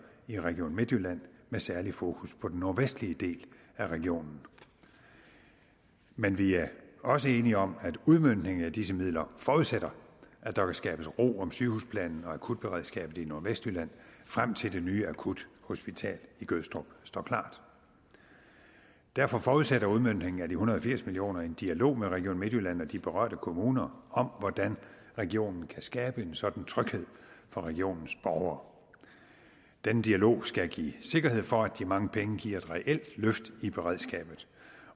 i region midtjylland med særligt fokus på den nordvestlige del af regionen men vi er også enige om at udmøntningen af disse midler forudsætter at der skabes ro om sygehusplanen og akutberedskabet i nordvestjylland frem til at det nye akuthospital i gødstrup står klar derfor forudsætter udmøntningen af de en hundrede og firs million kroner en dialog med region midtjylland og de berørte kommuner om hvordan regionen kan skabe en sådan tryghed for regionens borgere denne dialog skal give sikkerhed for at de mange penge giver et reelt løft i beredskabet